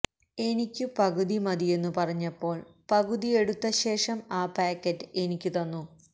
എനിക്കു പകുതി മതിയെന്നു പറഞ്ഞപ്പോള് പകുതിയെടുത്തശേഷം ആ പായ്ക്കറ്റ് എനിക്കു തന്നു